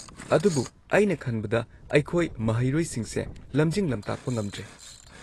ꯑꯗꯨꯕꯨ, ꯑꯩꯅ ꯈꯟꯕꯗ ꯑꯩꯈꯣꯏ ꯃꯍꯩꯔꯣꯏꯁꯤꯡꯁꯦ ꯂꯝꯖꯤꯡ-ꯂꯝꯇꯥꯛꯄ ꯉꯝꯗ꯭ꯔꯦ꯫